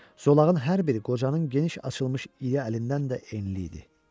Zolağın hər biri qocanın geniş açılmış iri əlindən də enli idi.